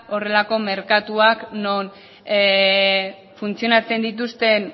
horrelako merkatuak non funtzionatzen dituzten